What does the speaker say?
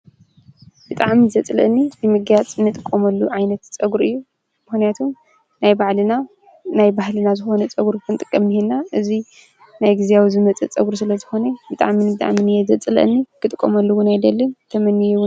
ብጣዕሚ ዘፅልኣኒ መጋያፅ እንጥቀመሉ ዓይነት ፀጉሪ እዩ። ምክንያቱም ናይ ባዕልና ፣ናይ ባህልና ዝኾነ ፀጉሪ ክንጥቀም እንሄና። እዚ ናይ ግዚያዊ ዝመፀ ፀጉሪ ዝመፀ ስለዝኾነ ብጣዕሚ ብጣዕሚ ዘፅልኣኒ ክጥቀመሉ እውን ኣይደልን ተመንዬ እውን